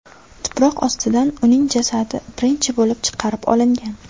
Tuproq ostidan uning jasadi birinchi bo‘lib chiqarib olingan .